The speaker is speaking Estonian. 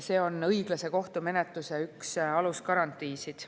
See on üks õiglase kohtumenetluse alusgarantiisid.